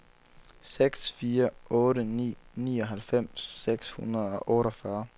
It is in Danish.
seks fire otte ni nioghalvfems seks hundrede og otteogfyrre